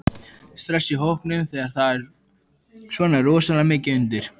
Stress í hópnum þegar það er svona rosalega mikið undir?